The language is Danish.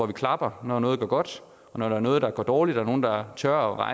vi klapper når noget går godt og når der er noget der går dårligt er nogle der tør